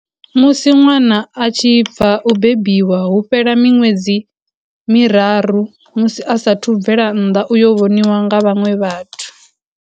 Musi ṅwana a tshi bva u bebiwa hu fhela miṅwedzi miraru musi a saathu bvela nnḓa uyo vhoniwa nga vhaṅwe vhathu.